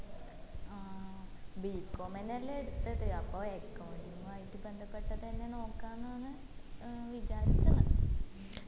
ആ bcom തന്നെ അല്ലെ എടിത്തത് അപ്പൊ accounting ആയിട്ട് ബന്ധപ്പെട്ടത്അന്നെ നോക്കാനാന്ന ഏർ വിചാരിക്കിന്ന്